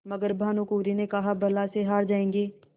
मगर भानकुँवरि ने कहाबला से हार जाऍंगे